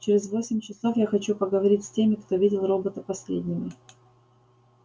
через восемь часов я хочу поговорить с теми кто видел робота последними